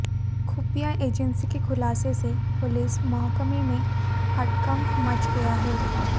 खुफिया एजेंसी के खुलासे से पुलिस महकमे में हड़कंप मच गया है